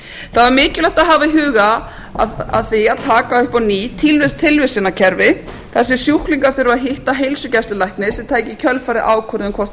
það var mikilvægt að hafa í huga af því að taka upp á ný tilvísunarkerfi þar sem sjúklingar þurfa að hitta heilsugæslulækni sem tæki í kjölfarið ákvörðun um hvort